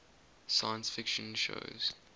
science fiction shows